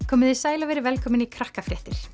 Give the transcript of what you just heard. komiði sæl og verið velkomin í Krakkafréttir